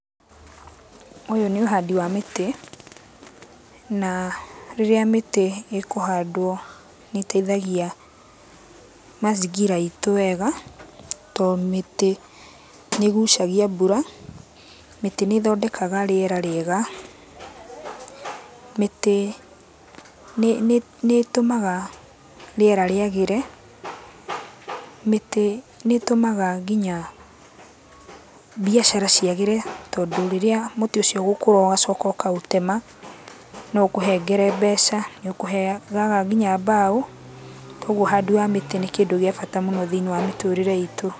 Ũyũ nĩ ũhandi wa mĩtĩ, na rĩrĩa mĩtĩ ĩkũhandwo nĩĩteithagia mazingira itũ wega, to mĩtĩ nĩgucagia mbura, mĩtĩ nĩ ĩthondekaga rĩera rĩega, mĩtĩ nĩtũmaga rĩera rĩagĩre, mĩtĩ nĩ ĩtũmaga nginya biacara ciagĩre tondũ rĩrĩa mũtĩ ũcio ũgũkũra ũgacoka ũkaũtema no ũkũhengere mbeca, nĩ ũkũheyaga nginya mbao, kogwo ũhandĩ wa mĩtĩ nĩ kĩndũ kĩa bata mũno thĩiniĩ wa mĩturĩre itũ.